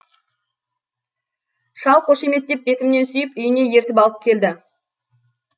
шал қошеметтеп бетімнен сүйіп үйіне ертіп алып келді